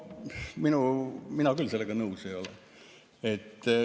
No mina küll sellega nõus ei ole.